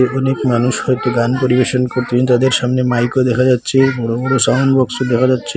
অনেক মানুষ কয়েকটি গান পরিবেশন করতেন তাদের সামনে মাইকও দেখা যাচ্ছে বড় বড় সাউন্ড বক্সও দেখা যাচ্ছে।